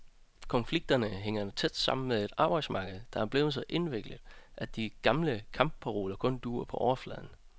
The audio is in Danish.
Konflikterne hænger tæt sammen med et arbejdsmarked, der er blevet så indviklet, at de gamle kampparoler kun duer på overfladen.